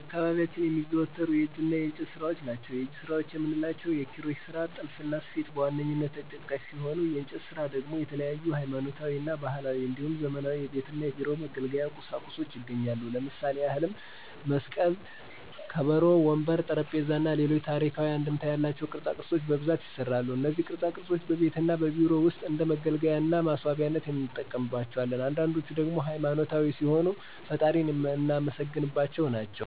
በአካባቢያችን የሚዘወተሩ የእጅ እና የእንጨት ስራዎች ናቸው። የእጅ ስራዎች የምንላቸው የኪሮሽ ስራ፣ ጥልፍና ስፌት በዋነኛነት ተጠቃሽ ሲሆኑ የእንጨት ስራ ደግሞ የተለያዩ ሀይማኖታዊ እና ባህላዊ እንዲሁም ዘመናዊ የቤት እና የቢሮ መገልገያ ቁሳቁሶች ይገኛሉ። ለምሳሌ ያህልም መስቀል፣ ከበሮ፣ ወንበር፣ ጠረጴዛ እና ሌሎች ታሪካዊ አንድምታ ያላቸው ቅርፃ ቅርፆች በብዛት ይሰራሉ። እነዚህ ቅርፃ ቅርፆች በቤት እና በቢሮ ውስጥ እንደ መገልገያ እና ማስዋቢያነት እንጠቀምባቸዋለን። አንዳንዶችን ደግሞ ሃይማኖታዊ ሲሆኑ ፈጣሪን የምናመሰግንባቸው ናቸው።